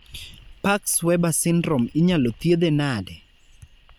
Parkes Weber syndrome inyalo thiedhe nade?